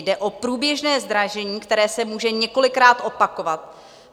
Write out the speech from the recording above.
Jde o průběžné zdražení, které se může několikrát opakovat.